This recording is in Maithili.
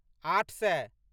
आठ सए